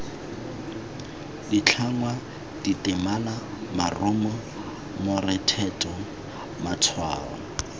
ditlhangwa ditemana morumo morethetho matshwao